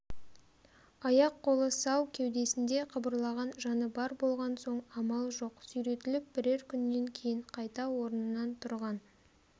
аяқ-қолы сау кеудесінде қыбырлаған жаны бар болған соң амал жоқ сүйретіліп бірер күннен кейін қайта орнынан тұрған